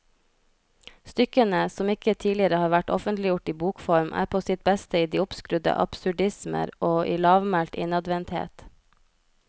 Stykkene, som ikke tidligere har vært offentliggjort i bokform, er på sitt beste i de oppskrudde absurdismer og i lavmælt innadvendthet.